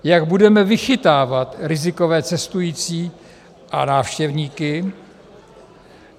Jak budeme vychytávat rizikové cestující a návštěvníky?